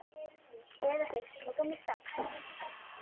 Eða þeir skjóta mig strax.